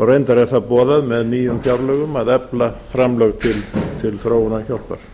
og reyndar er það boðað með nýjum fjárlögum að efla fjárlög til þróunarhjálpar